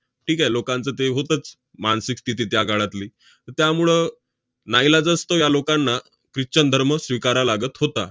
ठीक आहे. लोकांचं ते होतंच मानसिक स्थिती त्या काळातली. तर त्यामुळं नाईलाजास्तव या लोकांना christian धर्म स्वीकारावा लागत होता.